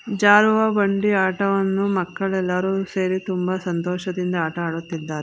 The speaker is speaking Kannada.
ಜಾರುವ ಬಂಡಿಯ ಆಟವನ್ನು ಮಕ್ಕಳೆಲ್ಲರು ಸೇರಿ ತುಂಬಾ ಸಂತೋಷದಿಂದ ಆಟ ಆಡುತ್ತಿದ್ದಾ--